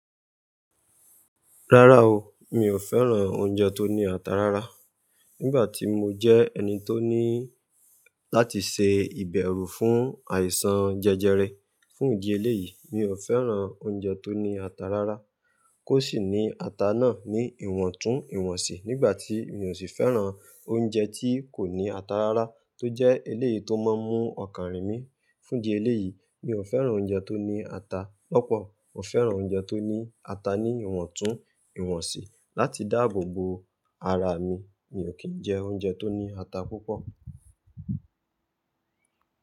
Rárá o, mi ò fẹ́ràn oúnjẹ tó ní ata rárá. Nígbà tí mo jẹ́ ẹni tó ní láti ṣe ìbẹ̀rù fún àìsàn jẹjẹrẹ fún ìdí eléyìí, mi ò fẹ́ràn oúnjẹ tó ní ata rárá. Kó sì ní ata náà ní ìwọ̀ntún ìwọ̀nsì. Nígbà tí mi ò sì fẹ́ràn oúnjẹ tí kò ní ata rárá tó jẹ́ eléyìí tó máa ń mú ọkàn rìn mí fún ìdí eléyìí. Mi ò fẹ́ràn oúnjẹ tó ní ata lọ́pọ̀. Mo fẹ́ràn oúnjẹ tó ní ata níwọ̀ntún ìwọ̀nsì. Láti dáàbò bo ara mi, mi ò kí ń jẹ oúnjẹ tó ní ata púpọ̀.